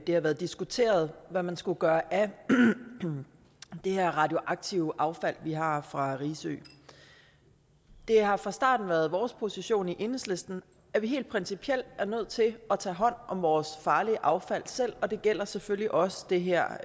har været diskuteret hvad man skulle gøre af det her radioaktive affald vi har fra risø det har fra starten været vores position i enhedslisten at vi helt principielt er nødt til at tage hånd om vores farlige affald og det gælder selvfølgelig også det her